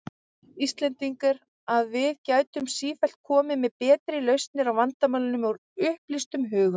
Íslendingar, að við gætum sífellt komið með betri lausnir á vandamálum, úr upplýstum hugum.